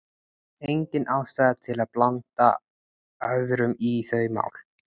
Engin ástæða til að blanda öðrum í þau mál.